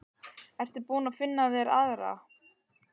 Ertu búinn að finna þér aðra?